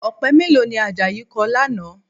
Ọ̀pẹ mélòó ni Àjàyí kọ lánàá?